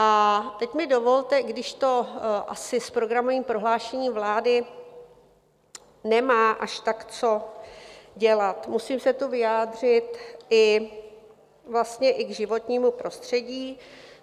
A teď mi dovolte, i když to asi s programovým prohlášením vlády nemá až tak co dělat, musím se tu vyjádřit vlastně i k životnímu prostředí.